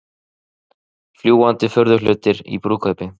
Fljúgandi furðuhlutir í brúðkaupi